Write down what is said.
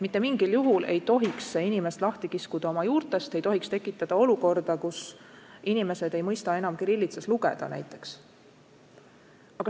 Mitte mingil juhul ei tohi inimest lahti kiskuda tema juurtest, ei tohi tekitada olukorda, kus vene emakeelega inimesed ei mõista enam kirillitsas lugeda näiteks.